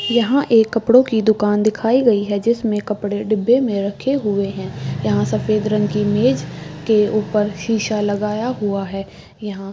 यहाँ एक कपड़ो की दुकान दिखाई गयी है जिसमे कपड़े डिब्बे में रखे हुए है यहाँ सफ़ेद रंग की मेज के ऊपर शीशा लगाया हुआ है यहाँ --